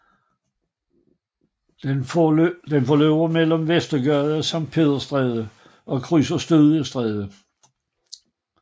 Den forløber mellem Vestergade og Sankt Peders Stræde og krydser Studiestræde